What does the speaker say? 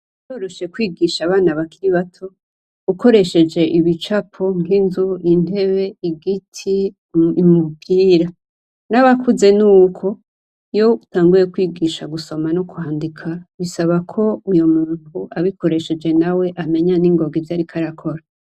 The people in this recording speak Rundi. Biroroshe kwigisha abana bakiri bato ukoresheje ibicapo nk'inzu, intebe, igiti, ibi bimubwira. N'abakuze n'uko. Iyo utanguye kwigisha gusoma n'ukwandika, bisaba ko uyo muntu abikoresheje nawe amenya ningoga ivyo ariko arakora.